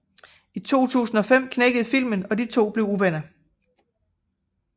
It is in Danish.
I 2005 knækkede filmen og de to blev uvenner